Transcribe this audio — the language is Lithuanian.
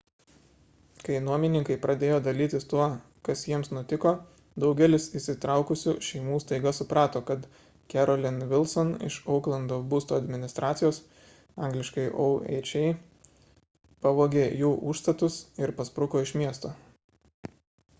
kai nuomininkai pradėjo dalytis tuo kas jiems nutiko daugelis įsitraukusių šeimų staiga suprato kad carolyn wilson iš ouklando būsto administracijos angl. oha pavogė jų užstatus ir paspruko iš miesto